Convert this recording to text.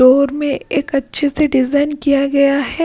Door में एक अच्छे से डिजाइन किया गया है।